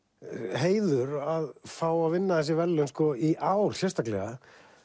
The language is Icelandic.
heiður að fá að vinna þessi verðlaun í ár sérstaklega